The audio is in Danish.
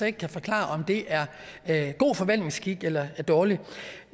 ikke forklare om det er god forvaltningsskik eller dårlig